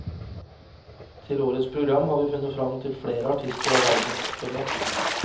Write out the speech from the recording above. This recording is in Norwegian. Til årets program har vi funnet fram til flere artister av verdensformat.